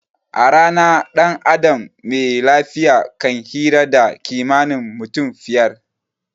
A rana dan adam me lafiya kan hira da kimanin mutum fiyar